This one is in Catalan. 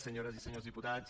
senyores i senyors diputats